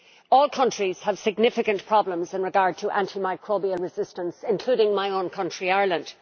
All countries have significant problems in regard to antimicrobial resistance, including my own country, Ireland.